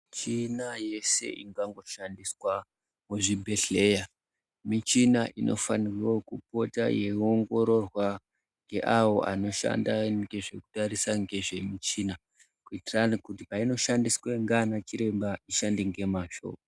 Michina yeshe ingangoshandiswa muzvibhedhlera michina inofane kupota yeiongororwa ngeawo anoshanda ngezvekutarisa ngezvemichina, kuitirani kuti peinoshandiswa ngaana chiremba ishande ngemazvo.